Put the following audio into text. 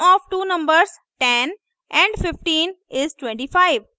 sum of two numbers 10 & 15 is 25